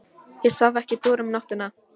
Ég svaf ekki dúr um nóttina.